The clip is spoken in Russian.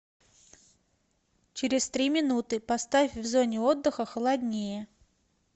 через три минуты поставь в зоне отдыха холоднее